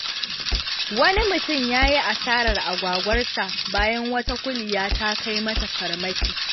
Wani mutum ya yi asarar agwagwarsa bayan wata kuliya ta kai mata farmaki.